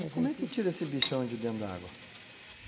E como é que tira esse bichão de dentro da água?